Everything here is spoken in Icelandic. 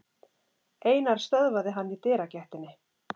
Einar stöðvaði hann í dyragættinni.